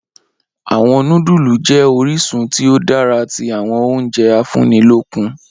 Awọn nudulu jẹ orisun ti o dara ti awọn ounje afunnilokun.